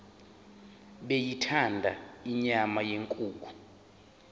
beyithanda inyama yenkukhu